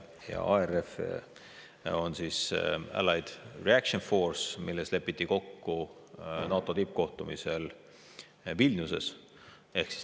Ja ARF on siis Allied Reaction Force, milles lepiti kokku NATO tippkohtumisel Vilniuses.